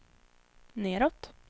nedåt